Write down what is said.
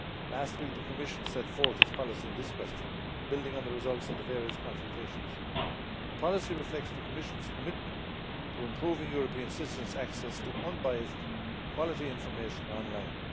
Last week the Commission set forth its policy on this question, building on the results of the various consultations. The policy reflects the Commission's commitment to improving European citizens' access to unbiased, quality information online.